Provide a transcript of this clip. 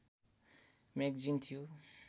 magazine थियो